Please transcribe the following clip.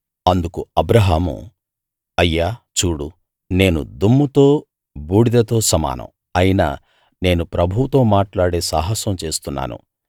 అందుకు అబ్రాహాము అయ్యా చూడు నేను దుమ్ముతో బూడిదతో సమానం అయినా నేను ప్రభువుతో మాట్లాడే సాహసం చేస్తున్నాను